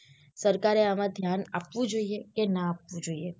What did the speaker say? સરકારે આમ ધ્યાન આપવું જોઈએ કે ના આપવું જોઈએ.